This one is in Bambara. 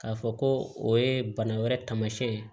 K'a fɔ ko o ye bana wɛrɛ tamasiyɛn ye